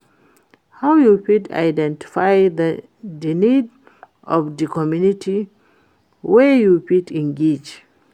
how you fit identify di needs of di community wey you fit engage?